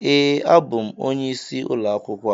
Ee, abụ m onye isi ulo akwukwo a